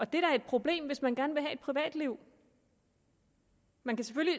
det er da et problem hvis man gerne vil have et privatliv man kan